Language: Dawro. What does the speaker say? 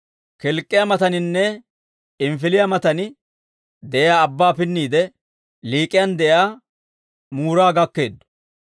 Kilk'k'iyaa mataaninne P'inifiliyaa matan de'iyaa abbaa pinniide, Lik'iyan de'iyaa Muura gakkeeddo.